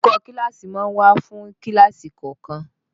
Olùkọ́ kíláàsì máa ń wà fún kíláàsì kọ̀ọ̀kan